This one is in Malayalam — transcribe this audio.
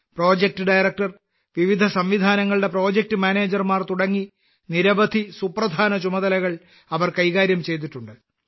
പ്രോജക്ട് ഡയറക്ടർ വിവിധ സംവിധാനങ്ങളുടെ പ്രോജക്ട് മാനേജർ തുടങ്ങി നിരവധി സുപ്രധാന ചുമതലകൾ അവർ കൈകാര്യം ചെയ്തിട്ടുണ്ട്